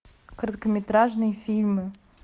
короткометражные фильмы